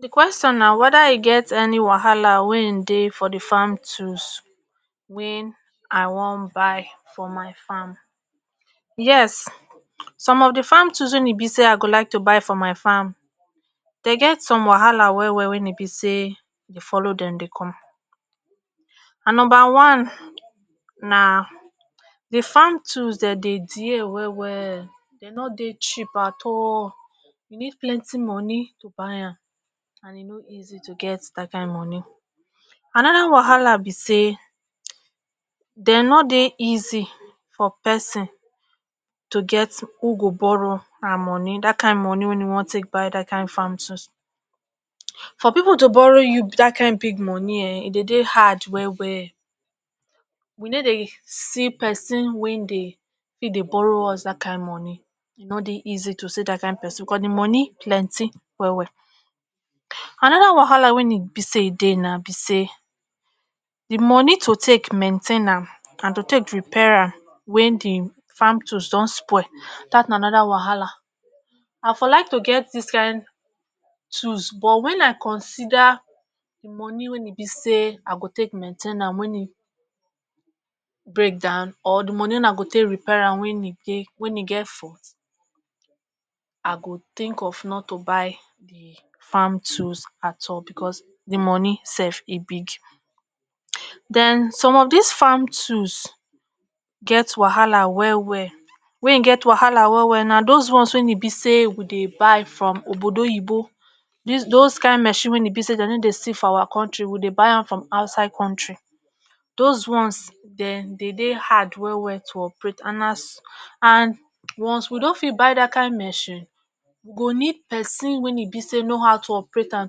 di question na weda e get any wahala wey hin dey for di farm tools wain i wan buy for my farm yes some of di farm tools wein e be say i go like to buy for my farm dey get some wahala well well well e be say dey e folo dem dey come and numba one na di farm tools de dey diear well well dey nor dey cheap at all you need plenty moni to buy am and e no easy to get that kind moni anoda wahala be say de nor dey easy for person to get who go borrow am moni dat kind moni wen e wan take buy that kind farm tools for pipu to borrow you that kind big moni um e dey dey hard well well we no dey see person wey dey fit ddy dey borrow us that kind moni e nor dey easy to see that kind person because the moni plenty well well anoda wahala wain be say e dey na be say di moni to take mentain am and to take repair am when di farm tools don spoil that na anoda wahala I for like to get dis kin tools but when I consider the moni wey e be say i go take maintain am wen e break down or the money wey I go tey repair when e dey when e get fault I go think of not to buy the farm tools at all because the moni sef e big den some of this farm tools get wahala well well wain get wahala well well na those ones wain e be say we dey buy from obodoyibo this those kind machines wain e be say dey nor dey see for our country we dey buy am from outside country those ones den dey dey hard well well to operate and as and once we don fit buy that kind machine we go need person wain e be say no how to operate am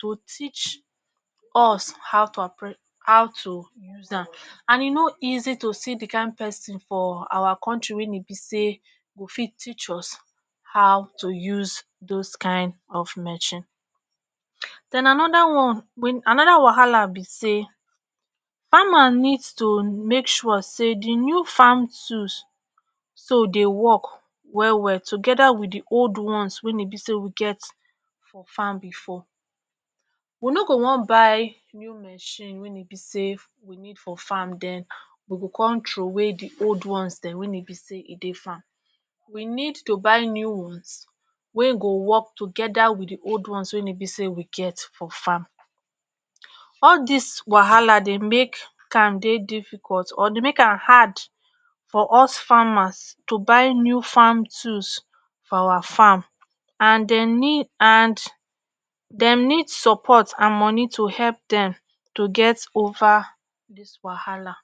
to teach us how to operate how to use am and e nor easy to see the kind person for our country wain e be say go fit teach us how to use those kain of machine then anoda one wain a other wahala be say farmer need to make sure say the new farm tools so dey work well well together with the old ones wain e be say we get for farm before we no go wan buy new machine wain e be say we need for farm den we go come troway the old ones den wain e be say e dey farm we need to buy new ones wey go work together with the old ones wain e be say we get for farm all this wahala dey make am dey difficult or dey make am hard for us farmers to buy new farm tools for our farm and dey need and Dem need support and money to help Dem to get over this wahala